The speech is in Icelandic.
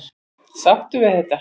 Ertu sáttur við þetta?